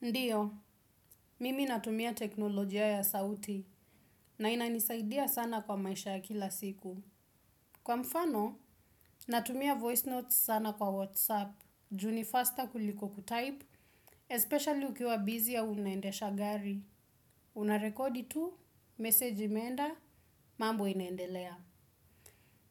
Ndiyo, mimi natumia teknolojia ya sauti na inanisaidia sana kwa maisha ya kila siku. Kwa mfano, natumia voice notes sana kwa WhatsApp, ju ni faster kuliko kutype, especially ukiwa busy au unaendesha gari. Unarekodi tu, meseji imeenda, mambo inaendelea.